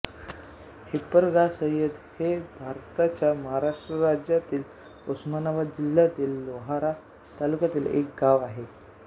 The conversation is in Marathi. हिप्परगासय्यद हे भारताच्या महाराष्ट्र राज्यातील उस्मानाबाद जिल्ह्यातील लोहारा तालुक्यातील एक गाव आहे